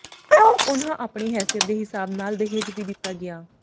ਉਨ੍ਹਾਂ ਆਪਣੀ ਹੈਸੀਅਤ ਦੇ ਹਿਸਾਬ ਨਾਲ ਦਹੇਜ ਵੀ ਦਿੱਤਾ ਗਿਆ